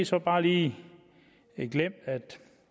så bare lige glemt at